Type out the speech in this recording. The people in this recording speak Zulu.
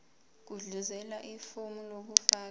gudluzela ifomu lokufaka